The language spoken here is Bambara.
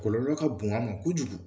Kɔlɔlɔ ka bon a ma kojugu